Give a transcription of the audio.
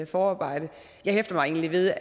forarbejde jeg hæfter mig egentlig ved